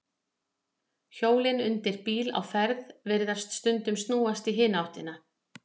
Hjólin undir bíl á ferð virðast stundum snúast í hina áttina.